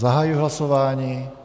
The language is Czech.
Zahajuji hlasování.